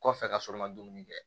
Kɔfɛ ka sɔrɔ ka dumuni kɛ